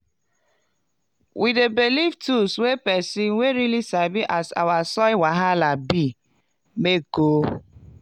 we dey belief tools wey person wey really sabi as our soil wahala bi make oh.